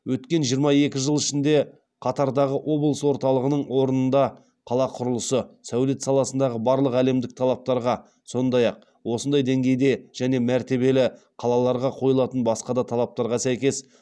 өткен жиырма екі жыл ішінде қатардағы облыс орталығының орнында қала құрылысы сәулет саласындағы барлық әлемдік талаптарға сондай ақ осындай деңгейдегі және мәртебелі қалаларға қойылатын басқа да талаптарға сәйкес